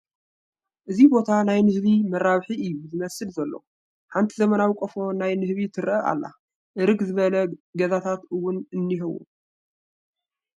እዚ ቦታ ናይ ንህቢ መራብሒ እዩ ዝመስል ዘሎ ሓንቲ ዘመናዊ ቖፎ ናይ ንህቢ ትረኣ ኣላ እርግ ዝበለ ገዛታት እውን እንሄዎ ።